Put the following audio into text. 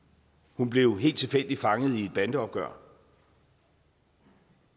hun blev helt tilfældigt fanget i et bandeopgør